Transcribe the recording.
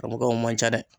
Ka mɔgɔw man ca dɛ